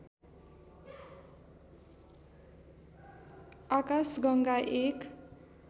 आकाशगङ्गा एक